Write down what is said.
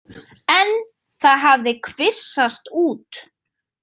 En það hafi kvisast út.